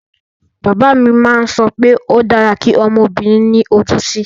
Bàbá mi má ń sọ pé ó dára kí ọmọbìnrin ní ojú ú tì